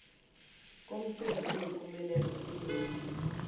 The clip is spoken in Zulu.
komcimbi oyimpumelelo onombiko